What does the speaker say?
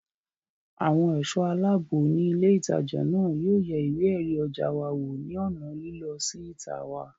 Àwọn ẹ̀ṣọ́ aláàbò ní ilé ìtajà náà yóò yẹ ìwé ẹ̀rí ọjà wa wò ní ònà lílọ sí ìta wa